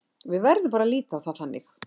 Við verðum bara að líta á það þannig.